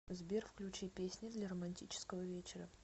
сбер включи песни для романтического вечера